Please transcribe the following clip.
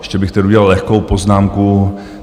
Ještě bych tedy udělal lehkou poznámku.